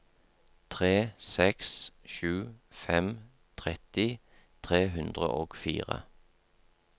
tre seks sju fem tretti tre hundre og fire